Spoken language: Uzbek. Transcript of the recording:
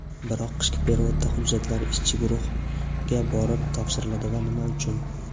Biroq qishki perevodda hujjatlar ishchi guruhga borib topshiriladi va nima uchun?.